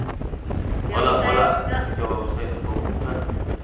हम्म बोला बोला तुमचा व्यवसायचा कौतुक करा.